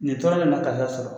Nin tɔɔrɔ le ma karisa sɔrɔ